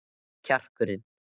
Hvar er kjarkurinn?